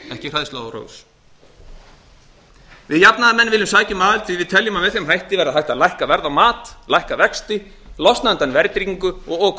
ekki hræðsluáróðurs við jafnaðarmenn viljum sækja um aðild því við teljum að með þeim hætti verði hægt að lækka verð á mat lækka vexti losna undan verðtryggingu og okurverðbólgu